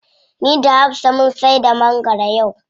Ni da hafsa mun saida mangwaro yau.